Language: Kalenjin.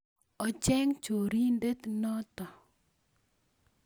Ocheng chorindet noto